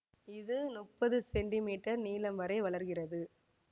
இது முப்பது சென்டிமீட்டர் நீளம் வரை வளர்கிறது